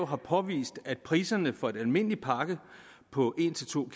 har påvist at priserne for en almindelig pakke på en to